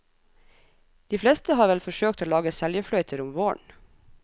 De fleste har vel forsøkt å lage seljefløyter om våren.